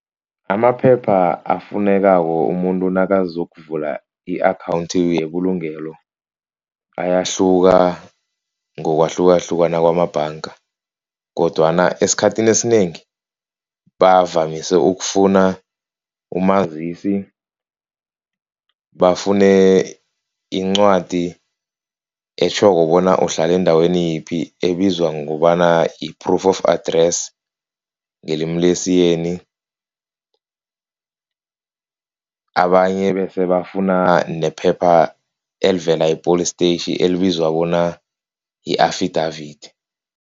Amaphepha afunekako umuntu nakazokuvula i-account yebulungelo ayahluka ngokwahlukahlukana kwamabhanga. Kodwana esikhathini esinengi, bavamise ukufuna umazisi, bafune incwadi etjhoko bona uhlala endaweni yiphi, ebizwa ngokobana i-proof of address ngelimi lesiyeni. Abanye bese bafuna nephepha elivela e-Police Station elibizwa bona yi-affidavit.